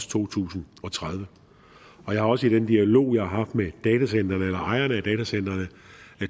to tusind og tredive jeg har også i den dialog jeg har haft med ejerne af datacentrene